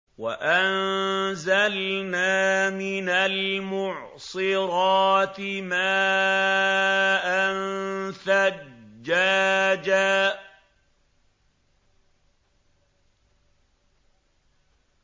وَأَنزَلْنَا مِنَ الْمُعْصِرَاتِ مَاءً ثَجَّاجًا